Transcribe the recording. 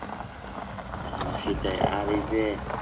সেটাই আর এই যে